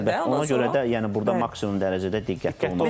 Ona görə də yəni burda maksimum dərəcədə diqqətli olmaq lazımdır.